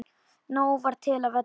Nóg var til af öllu.